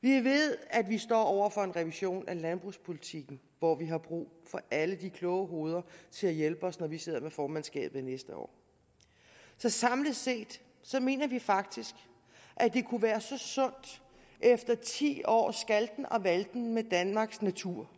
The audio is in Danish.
vi ved at vi står over for en revision af landbrugspolitikken hvor vi har brug for alle de kloge hoveder til at hjælpe os når vi sidder med formandskabet næste år så samlet set mener vi faktisk at det kunne være så sundt efter ti års skalten og valten med danmarks natur